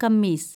kameez